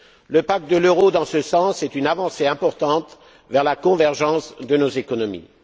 Le pacte de l'euro, dans ce sens, est une avancée importante vers la convergence de nos économies.